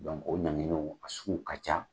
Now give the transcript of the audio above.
o ɲangininw a sugu ka ca.